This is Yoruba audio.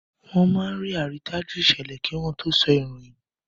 Wọ́n máa ń rí àrídájú ìṣẹ̀lẹ̀ kí wọ́n tó sọ ìròyìn.